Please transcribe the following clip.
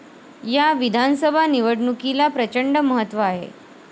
या विधानसभा निवडणुकीला प्रचंड महत्त्व आहे.